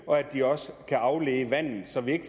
og at de også kan aflede vandet så vi ikke